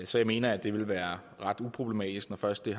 så jeg mener det vil være ret uproblematisk når først det